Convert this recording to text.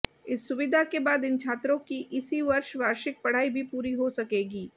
इस सुविधा के बाद इन छात्रों की इसी वर्ष वार्षिक पढ़ाई भी पूरी हो सकेगी